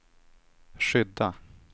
skydda